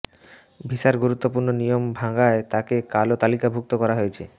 ভিসার গুরুত্বপূর্ণ নিয়ম ভাঙায় তাকে কালো তালিকাভুক্ত করা হয়েছে